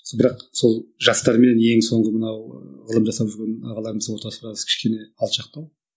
бірақ сол жастар менен ең соңғы мынау ғылым жасап жүрген ағаларымыздың ортасы біраз кішкене алшақтау